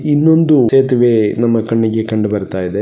ಇನ್ನೊಂದು ಸೇತುವೆ ನಮ್ಮ ಕಣ್ಣಿಗೆ ಕಂಡುಬರುತ್ತಾ ಇದೆ .